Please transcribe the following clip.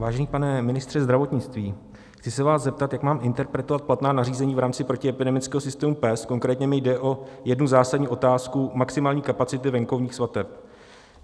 Vážený pane ministře zdravotnictví, chci se vás zeptat, jak mám interpretovat platná nařízení v rámci protiepidemického systému PES, konkrétně mi jde o jednu zásadní otázku maximální kapacity venkovních svateb.